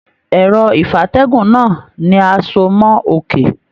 Ẹrọ ìfatẹ̀gún náà ni a so mọ òkè.